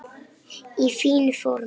Í fínu formi.